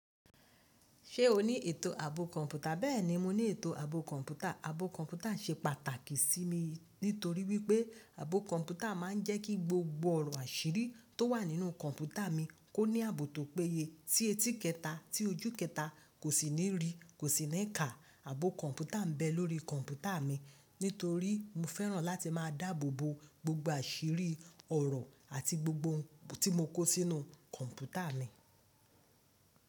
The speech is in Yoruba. Ṣé o ní ètò ààbò kọ̀ǹpútà? Bẹ́ẹ̀ni mo ní ètò ààbò kọ̀ǹpútà. Ààbò kọ̀ǹpútà ṣe pàtàkì sí mi nítorí wípé ààbò kọ̀ǹpútà ma ń jẹ́ kí gbogbo ọ̀rọ̀ àṣírí tó wà nínú kọ̀ǹpútà mi kó ní ààbò tó péye. Tí etí kẹta tí ojú kẹta kò sì ní rí kò sì ní kà. Ààbò kọ̀ǹpútà ń bẹ lórí kọ̀ǹpútà mi nítorí mo fẹ́ràn láti má a dáàbò bo gbogbo àṣírí ọ̀rọ̀ àti gbogbo ohun tí mo kó sínú kọ̀ǹpútà mi.